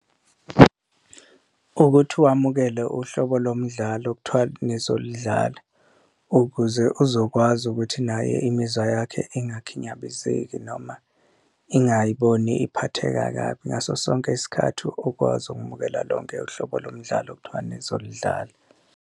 Ukuthi wamukele uhlobo lomdlalo okuthiwa nizolidlala ukuze uzokwazi ukuthi naye imizwa yakhe ingakhinyabezeki noma ingayiboni iphatheka kabi ngaso sonke isikhathi, ukwazi ukumukela lonke uhlobo lomdlalo okuthiwa nizolidlala.